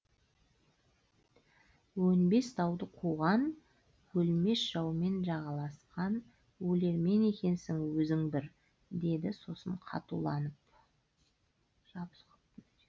өнбес дауды қуған өлмесжаумен жағаласқан өлермен екенсің өзің бір деді сосын қатуланып